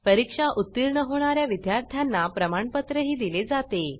परीक्षा उत्तीर्ण होणा या विद्यार्थ्यांना प्रमाणपत्रही दिले जाते